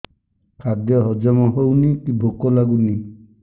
ଖାଦ୍ୟ ହଜମ ହଉନି କି ଭୋକ ଲାଗୁନି